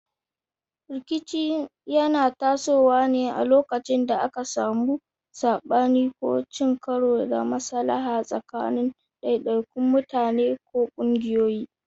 Rikici yana tasowa ne a lokacin da aka samu sabani ko cin karo da maslaha tsakanin daidaikun mutane ko kungiyoyi.